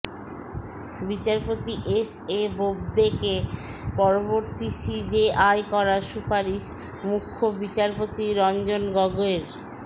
বিচারপতি S A বোবদেকে পরবর্তী সিজেআই করার সুপারিশ মুখ্য বিচারপতি রঞ্জন গগৈর